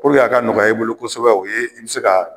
a ka nɔgɔya i bolo kosɛbɛ i bɛ se ka